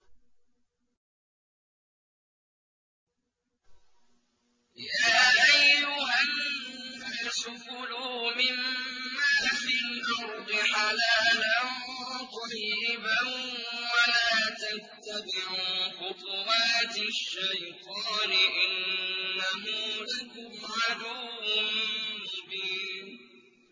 يَا أَيُّهَا النَّاسُ كُلُوا مِمَّا فِي الْأَرْضِ حَلَالًا طَيِّبًا وَلَا تَتَّبِعُوا خُطُوَاتِ الشَّيْطَانِ ۚ إِنَّهُ لَكُمْ عَدُوٌّ مُّبِينٌ